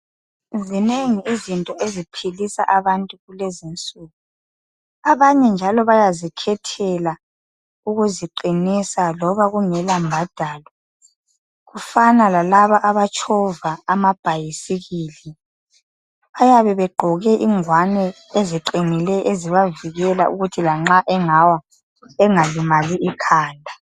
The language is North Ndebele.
Zinengi izinto eziphilisa abantu kulezinsuku. Abanye njalo bayazikhethela ukuziqinisa loba kungela mbadalo .Kufana lalaba abatshova amabhayisikili .Bayabe begqoke ingwane ezigqongileyo ezibavikela ukuthi lanxa engalimali ikhanda.